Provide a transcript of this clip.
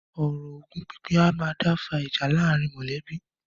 Ọ̀rọ̀ ogún pínpín a máa dá fa ìjà láàárín mọ̀lẹ́bí.